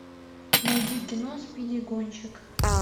найди кино спиди гонщик